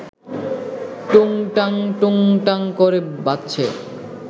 টুংটাং টুংটাং ক’রে বাজছে